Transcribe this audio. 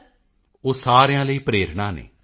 ਮੋਦੀ ਜੀ ਉਹ ਸਾਰਿਆਂ ਲਈ ਪ੍ਰੇਰਣਾ ਹਨ